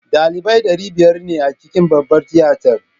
Ɗalibai ɗari biyar ne a cikin babbar tiyatar